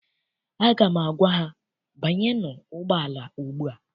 Aga m agwa ha, banyenụ ụgbọala ugbua!